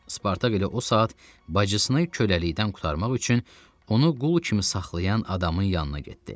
Spartak elə o saat bacısını köləlikdən qurtarmaq üçün onu qul kimi saxlayan adamın yanına getdi.